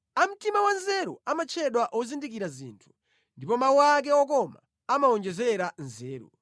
A mtima wanzeru amatchedwa ozindikira zinthu, ndipo mawu ake okoma amawonjezera nzeru.